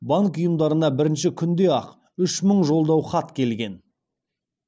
банк ұйымдарына бірінші күнде ақ үш мың жолдау хат келген